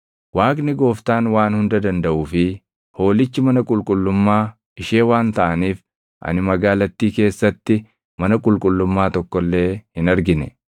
Waaqni Gooftaan Waan Hunda Dandaʼuu fi Hoolichi mana qulqullummaa ishee waan taʼaniif ani magaalattii keessatti mana qulqullummaa tokko illee hin argine.